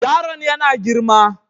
Yaron yana girma.